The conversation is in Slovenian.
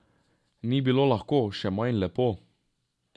Ni bilo lahko, še manj lepo.